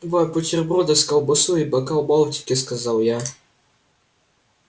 два бутерброда с колбасой и бокал балтики сказал я